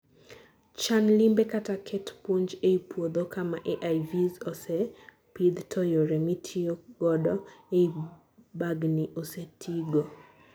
chan limbe kata ket puonj ei puodho kama AIVs ose pidh to yore mitiyo godo eii bugni ose tigo